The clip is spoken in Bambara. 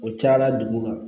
O cayala dugu ma